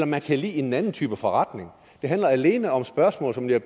man kan lide en anden type forretning det handler alene om spørgsmål som jeg